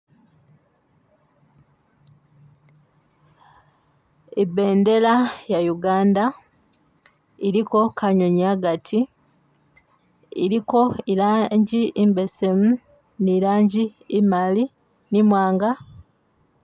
Ibendela ya Uganda iliko kanyonyi hagati iliko ilangi imbesemu nilangi imali ni imwanga.